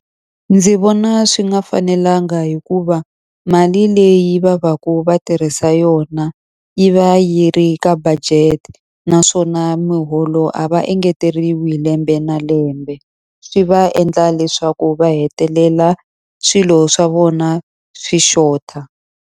Ndzi vona swi nga fanelanga hikuva mali leyi va va ka va tirhisa yona yi va yi ri ka budget, naswona miholo a va engeteleriwi lembe na lembe. Swi va endla leswaku va hetelela swilo swa vona swi xota.